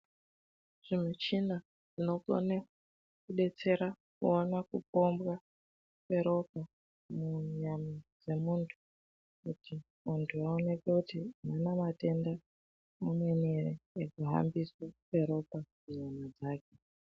Zvimichina zvinokone kudetsera kuona kupombwa kweropa munyama dzemuntu, kuti vantu vaoneke kuti avana matenda amweni ere, ekuhambiswe kweropa munyama dzake.